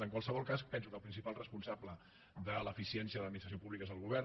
en qualsevol cas penso que el principal responsable de l’eficiència de l’administració pública és el govern